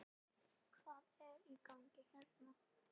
Hvað er í gangi hérna?